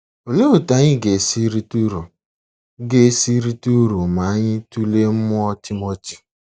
Olee otú anyị ga-esi rite uru ga-esi rite uru ma anyị tụlee mmụọ Timoti?